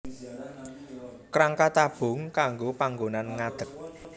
Kerangka tabung kanggo panggonan ngadeg